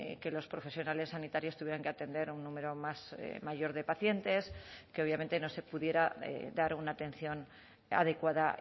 que los profesionales sanitarios tuvieran que atender a un número más mayor de pacientes que obviamente no se pudiera dar una atención adecuada